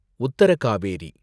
Uttar Kaveri